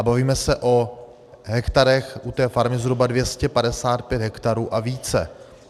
A bavíme se o hektarech, u té farmy zhruba 255 hektarů a více.